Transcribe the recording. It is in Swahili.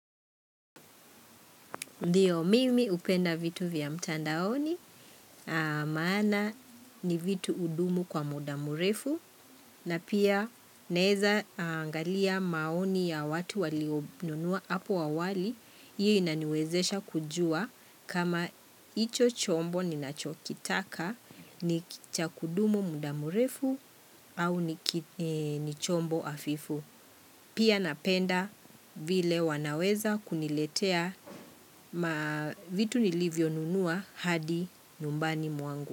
Ndiyo, mimi hupenda vitu vya mtandaoni, maana ni vitu hudumu kwa muda mrefu, na pia naeza angalia maoni ya watu walionunua hapo awali, hiyo inaniwezesha kujua kama hicho chombo ninachokitaka ni cha kudumu muda mrefu au ni chombo hafifu. Pia napenda vile wanaweza kuniletea ma vitu nilivyonunua hadi nyumbani mwangu.